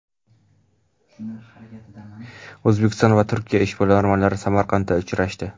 O‘zbekiston va Turkiya ishbilarmonlari Samarqandda uchrashdi.